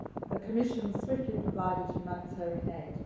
The Commission swiftly provided humanitarian aid.